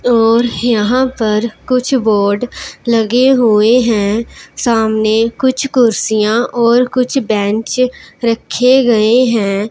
और यहां पर कुछ बोर्ड लगे हुए है सामने कुछ कुर्सियां और कुछ बेंच रखे गए है।